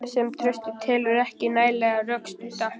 sem Trausti telur ekki nægilega rökstudda.